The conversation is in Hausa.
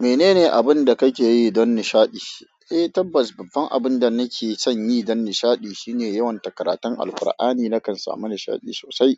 Menene abin da kake yi dan nishaɗi? Eh, tabbas, babban abin da nake son yi dan nishaɗi shine yawants karataun Alqur'ani. Nakan samu nishaɗi sosai